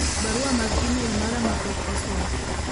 barua mag email mara ma pok osom